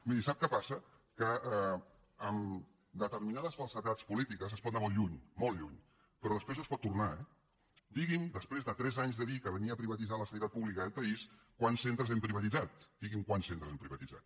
miri sap què passa que amb determinades falsedats polítiques es pot anar molt lluny molt lluny però després no es pot tornar eh digui’m després de tres anys de dir que venia a privatitzar la sanitat pública d’aquest país quants centres hem privatitzat digui’m quants centres hem privatitzat